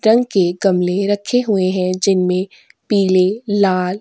रंग के गमले रखे हुए हैं जिनमें पीले लाल --